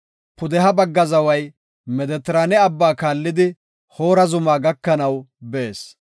“Pudeha bagga zaway Medetiraane Abbaa kaallidi Hoora zuma gakanaw bees.